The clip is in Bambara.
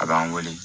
A b'an wele